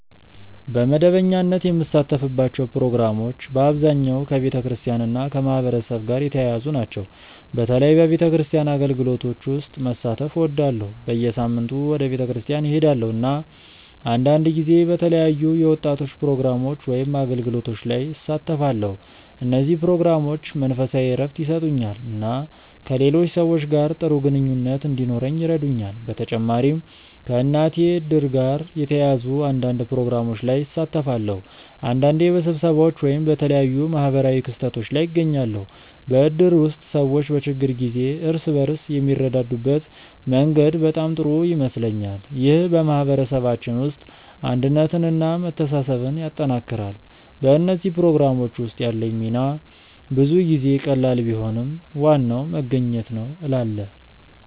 በመደበኛነት የምሳተፍባቸው ፕሮግራሞች በአብዛኛው ከቤተክርስቲያን እና ከማህበረሰብ ጋር የተያያዙ ናቸው። በተለይ በቤተክርስቲያን አገልግሎቶች ውስጥ መሳተፍ እወዳለሁ። በየሳምንቱ ወደ ቤተክርስቲያን እሄዳለሁ፣ እና አንዳንድ ጊዜ በተለያዩ የወጣቶች ፕሮግራሞች ወይም አገልግሎቶች ላይ እሳተፋለሁ። እነዚህ ፕሮግራሞች መንፈሳዊ እረፍት ይሰጡኛል እና ከሌሎች ሰዎች ጋር ጥሩ ግንኙነት እንዲኖረኝ ይረዱኛል። በተጨማሪም ከእናቴ እድር ጋር የተያያዙ አንዳንድ ፕሮግራሞች ላይ እሳተፋለሁ። አንዳንዴ በስብሰባዎች ወይም በተለያዩ ማህበራዊ ክስተቶች ላይ እገኛለሁ። በእድር ውስጥ ሰዎች በችግር ጊዜ እርስ በርስ የሚረዳዱበት መንገድ በጣም ጥሩ ይመስለኛል። ይህ በማህበረሰባችን ውስጥ አንድነትን እና መተሳሰብን ያጠናክራል። በእነዚህ ፕሮግራሞች ውስጥ ያለኝ ሚና ብዙ ጊዜ ቀላል ቢሆንም ዋናው መገኘት ነው እላለ